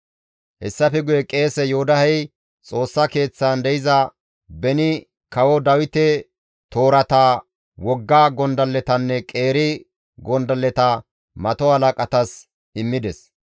Hessafe guye qeese Yoodahey Xoossa keeththan de7iza, beni kawo Dawite toorata, wogga gondalletanne qeeri gondalleta mato halaqatas immides.